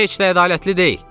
Bu heç də ədalətli deyil.